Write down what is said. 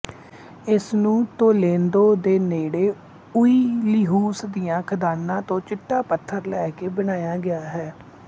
ਇਸਨੂੰ ਤੋਲੇਦੋ ਦੇ ਨੇੜੇ ਓਈਲੀਹੂਲਸ ਦੀਆਂ ਖਦਾਨਾ ਤੋਂ ਚਿੱਟਾ ਪੱਥਰ ਲੈ ਕੇ ਬਣਾਇਆ ਗਿਆ ਹੈ